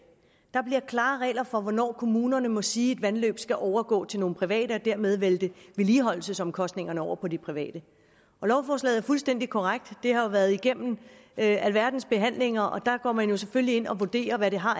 der bliver klare regler for hvornår kommunerne må sige at et vandløb skal overgå til nogle private og dermed vælte vedligeholdelsesomkostningerne over på de private og lovforslaget er fuldstændig korrekt det har jo været igennem alverdens behandlinger og der går man selvfølgelig ind og vurderer hvad det har